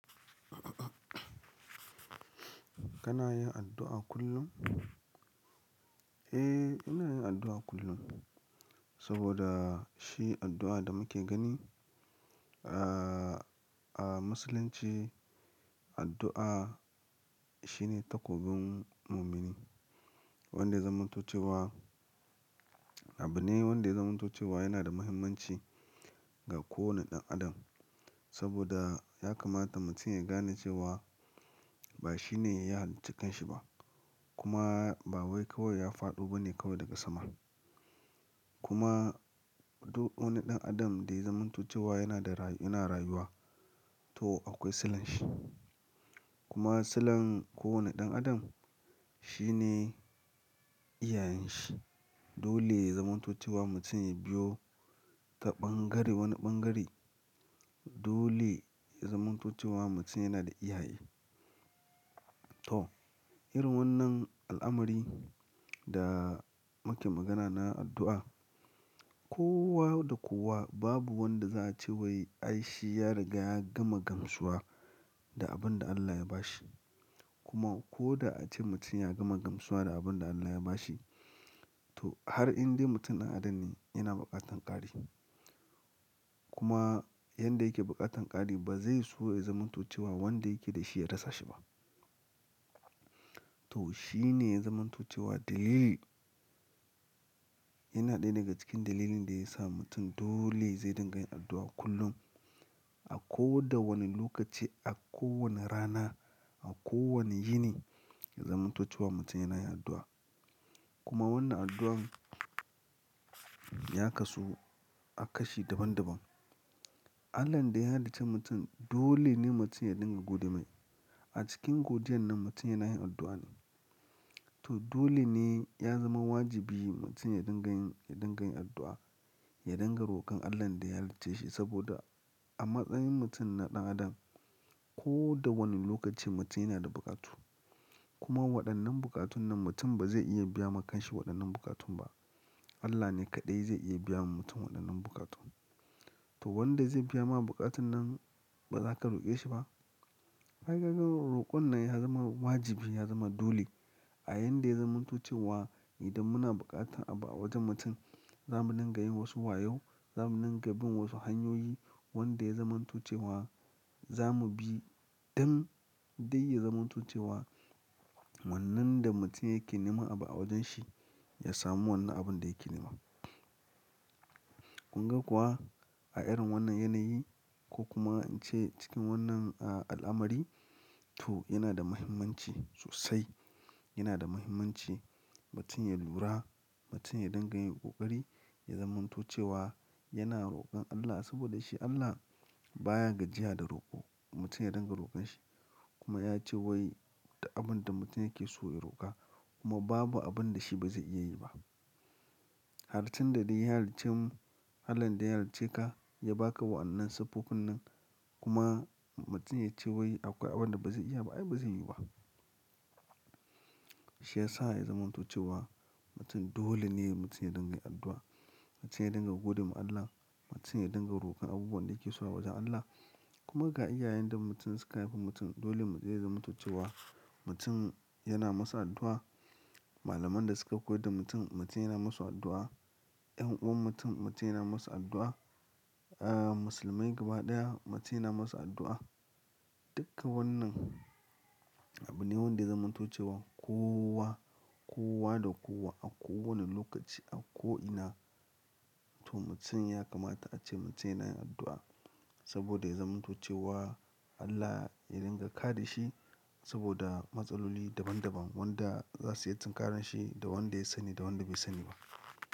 Kana yin addu'a kullum? Eh, ina yin addu'a kullum saboda shi addu'a da muke gani a musulunci addu'a shine takobin mumini wanda ya zamanto ce wa. Abu ne wanda ya zamanto ce wa yana da muhimmanci ga kowane ɗan adam saboda ya kamata mutum ya gane cewa ba shi ne ya yi halicci kanshi ba kuma ba wai kawai ya faɗo ba ne kawai daga sama. Kuma duk wani ɗan adam da ya zamanto ce wa yana da rayuwa to akwai sulan shi. Kuma sulan kowane ɗan adam shi ne iyayen shi. Dole ya zamanto ce wa mutum ya biyo ta bangare wani bangare. Dole ya zamantace wa mutum yana da iyaye. To, irin wannan al'amari da muke magana na addu'a kowa da kowa babu wanda za a ce wai ai shi ya riga ya gama gamsuwa da abin da Allah ya bashi. Kuma ko da ace mutum ya gama gamsuwa da abin da Allah ya bashi to har inda mutum ɗan adam ne yana buƙatar ƙari. Kuma yanda yake buƙatar ƙari ba zai so ya zamanto ce wa wanda yake da shi ya rasa shi ba. To shi ne zamanto ce wa dalili. Yana ɗaya daga cikin dalilin da ya sa mutum dole zai dinga yin addu'a kullum a kowa da wani lokaci, a kowane rana, a kowane yini zamanto ce wa mutum yana yin addu'a. Kuma wannan addu'an ya kasu a kashi daban daban. Allahn da ya halicci mutum dole ne mutum ya dinga gode mai. A cikin godiyar nan mutum yana yin addu'a ne. To dole ne ya zama wajibi mutum ya dinga yin, ya dinga yin addu'a, ya dinga rokon Allahn da ya halicce shi saboda a matsayin mutum na ɗan adam ko da wani lokaci mutum yana da buƙatu. Kuma waɗannan bukatun nan mutum ba zai iya biya ma kansa waɗannan bukatun ba. Allah ne kaɗai zai iya biya ma mutum waɗannan bukatun. To wanda zai biya ma bukatun nan ba za ka roƙe shi ba. Ai kaga roƙon nan ya zama wajibi, ya zama dole a yanda ya zamantace wa idan muna buƙata a wajen mutum za mu dinga yin wasu wayo, za mu dinga bin wasu hanyoyi wanda ya zamanto ce wa za mu bi don dai ya zamantace wa wannan da mutum yake nema abu a wajen shi ya samu wannan abun da yake nema. Kun ga kuwa a irin wannan yanayi ko kuma in ce cikin wannan al'amari to yana da muhimmanci sosai. Yana da muhimmanci mutum ya lura, mutum ya dinga yi ƙoƙari ya zamanto ce wa yana rokon Allah saboda shi Allah baya gajiya da roko mutum ya dinga rokon shi kuma ya ce wai abin da mutum yake so ya roƙa kuma babu abin da shi ba zai iya yi ba. Har tun da dai ya halicci mu, Allahn da ya halicce ka ya ba ka waɗannan siffofin nan kuma mutum ya ce wai akwai abin da ba zai iya ba ai ba zai yi ba. Shi ya sa ya zamantoce wa mutum dole ne mutum ya dinga yin addu'a, mutum ya dinga godewa Allah, mutum ya dinga rokon abubuwan da yake so a wajen Allah kuma ga iyayen da mutum suka haifi mutum dole mu zai zamantace wa mutum yana musu addu'a. Malaman da suka koyar da mutum mutum yana musu addu'a. 'Yan uwan mutum mutum yana musu addu'a. Musulmai gaba ɗaya mutum yana musu addu'a. Duka wannan abu ne wanda zamanto ce wa kowa, kowa da kowa a kowane lokaci a ko'ina to mutum ya kamata a ce mutum yana yin addu'a saboda ya zamantoce wa Allah ya dinga kare shi saboda matsaloli daban daban wanda za su iya tsinkarar shi da wanda ya sani da wanda bai sani ba.